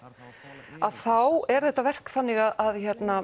þá er þetta verk þannig að